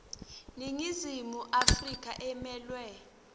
iningizimu afrika emelwe